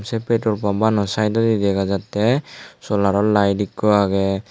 che petrol pom ano saetodi dega jatte solaro layit ikko agey.